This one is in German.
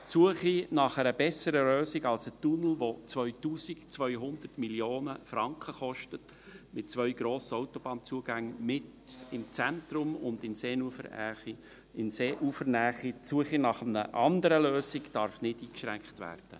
Die Suche nach einer besseren Lösung als einem Tunnel, der 2200 Mio. Franken kostet, mit zwei grossen Autobahnzugängen mitten im Zentrum und in Seeufernähe, darf nicht eingeschränkt werden.